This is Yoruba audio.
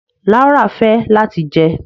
Laura fẹ lati jẹ